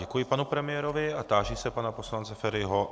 Děkuji panu premiérovi a táži se pana poslance Feriho.